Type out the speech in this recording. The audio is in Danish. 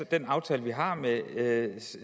den aftale vi har med